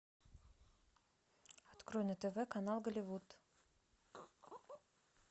открой на тв канал голливуд